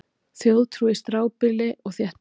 Þjóðtrú í strjálbýli og þéttbýli